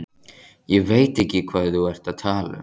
Ég veit ekki hvað þú ert að tala um.